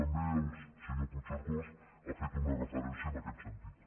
també el senyor puigcercós ha fet una referència en aquest sentit